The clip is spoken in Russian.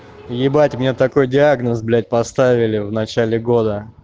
ебать мне такой диагноз блять поставили в начале года